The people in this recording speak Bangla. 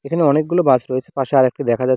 এখানে অনেকগুলো বাস রয়েছে পাশে আরেকটি দেখা যা--